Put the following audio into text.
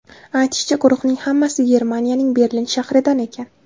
Aytishicha, guruhning hammasi Germaniyaning Berlin shahridan ekan.